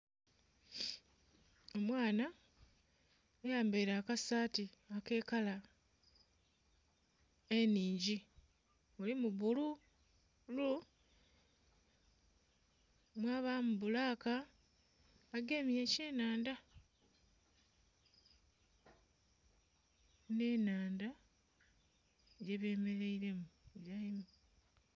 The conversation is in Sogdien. Omwaana ayambaire akasati ake kala enhungi mulimu bbulu, mwabamu bbulaka agemye ekye nhandha nhe nhandha ghe bemereiremu.